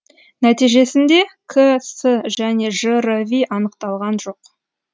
нәтижесінде кс және жрви анықталған жоқ